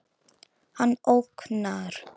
Hann ógnar.